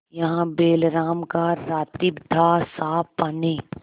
वहाँ बैलराम का रातिब थासाफ पानी